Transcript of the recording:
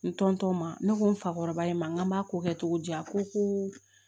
N ma ne ko n fakɔrɔba in ma n k'an b'a ko kɛ cogo di a ko ko